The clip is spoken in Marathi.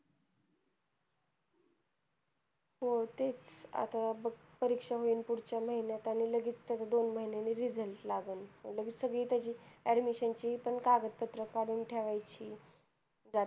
हो तेच आता बघ परीक्षा होईल पुढच्या महिन्यात आणि लगेच त्याचा दोन महिनेंन result लागलं लगेच सगळी त्याचा admission ची पण कागद पत्र कडून ठेवायची